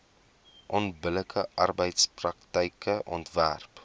onbillike arbeidspraktyke onderwerp